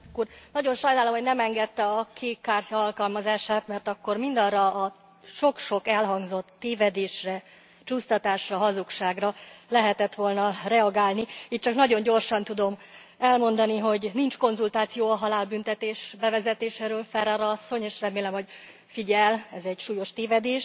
Nagyon sajnálom, hogy nem engedte a kék kártya alkalmazását, mert akkor mindarra a sok sok elhangzott tévedésre, csúsztatásra, hazugságra lehetett volna reagálni, így csak nagyon gyorsan tudom elmondani, hogy nincs konzultáció a halálbüntetés bevezetéséről, Ferrara asszony, és remélem, hogy figyel ez egy súlyos tévedés.